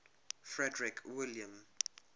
frederick william